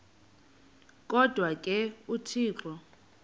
kodwa ke uthixo